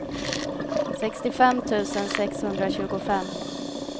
sextiofem tusen sexhundratjugofem